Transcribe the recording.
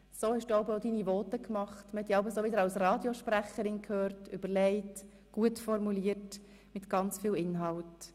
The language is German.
So hast du jeweils auch deine Voten gehalten, und du hast dich dabei wie eine Radiosprecherin angehört, überlegt, gut formuliert und mit ganz viel Inhalt.